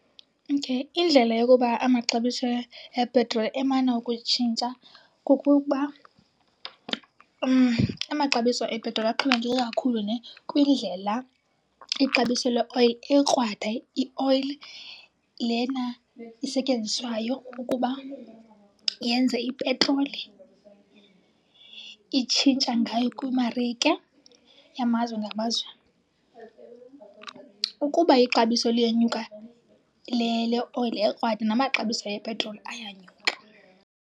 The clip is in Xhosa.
Okay. Indlela yokuba amaxabiso epetroli emana ukutshintsha kukuba amaxabiso epetroli axhomekeke kakhulu nhe kwindlela ixabiso leoyili ekrwada, ioyili lena isetyenziswayo ukuba yenze ipetroli, itshintsha ngayo kwimarike yamazwe ngamazwe. Ukuba ixabiso liyenyuka leoyili ekrwada namaxabiso epetroli ayanyuka.